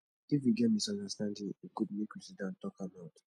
if we get misunderstanding e good make we sidon talk am out